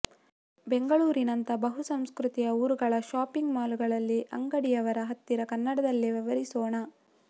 ಬೆಂಗಳೂರಿನಂತ ಬಹುಸಂಸ್ಕ್ರುತಿಯ ಊರುಗಳ shopping mall ಗಳಲ್ಲಿ ಅಂಗಡಿಯವರ ಹತ್ತಿರ ಕನ್ನಡದಲ್ಲೇ ವ್ಯವಹರಿಸೋಣ